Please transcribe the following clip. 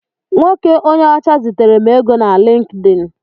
Nwoke onye ọcha zitere m ego na Lịnkdịn.